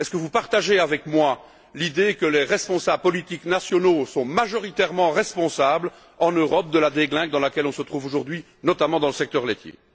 Est ce que vous partagez avec moi l'idée que les responsables politiques nationaux sont majoritairement responsables en Europe de la déglingue dans laquelle on se trouve aujourd'hui, notamment dans le secteur laitier?